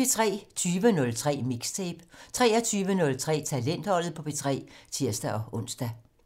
20:03: Mixtape 23:03: Talentholdet på P3 (tir-ons)